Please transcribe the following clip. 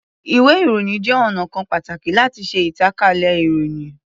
Ìwé-ìròyìn jẹ́ ọnà kan pàtàkì láti ṣe ìtànkálẹ̀ ìròyìn.